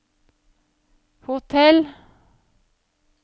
hotell